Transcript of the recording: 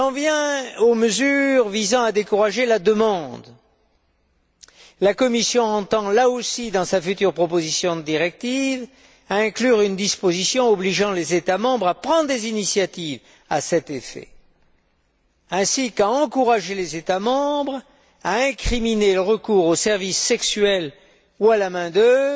Concernant les mesures visant à décourager la demande, la Commission entend, là aussi, dans sa future proposition de directive, inclure une disposition obligeant les États membres à prendre des initiatives à cet effet, ainsi qu'à encourager les États membres à criminaliser le recours aux services sexuels ou à la main d'œuvre